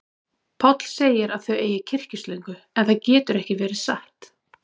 Páll segir að þau eigi kyrkislöngu, en það getur ekki verið satt.